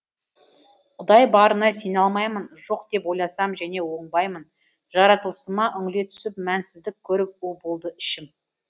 құдай барына сене алмаймын жоқ деп ойласам және оңбаймын жаратылысыма үңіле түсіп мәнсіздік көріп у болды ішім